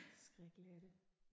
Skrækkeligt er det